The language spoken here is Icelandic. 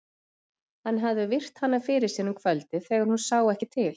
Hann hafði virt hana fyrir sér um kvöldið þegar hún sá ekki til.